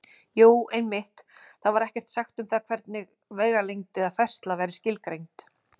Jú, einmitt: Þar var ekkert sagt um það hvernig vegalengd eða færsla væri skilgreind!